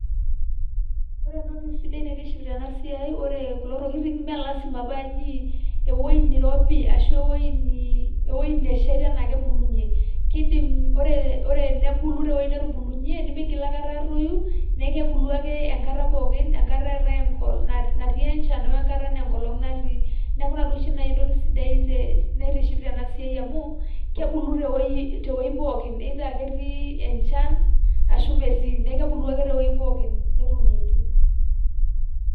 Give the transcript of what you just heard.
ore entoki sidai naitiship tena siai, ore kulo tokitin imme lasima paa ewueji neirobi etii, ashu ewueji neishita ake ebulunye. kidim, ore enebulu te wueji netubulunye, nimigil aikata, aatoi, neeku kebulu ake enkata pookin, enkata ake eetae enchan we nkata naa enkolong' natii. neeku ina duo oshi etoki sidai te, naitiship tena siai amu kebulu tewueji pookin either ketii enchan ashu metii, neeku kebuu ake te wueji pookin netuunoki.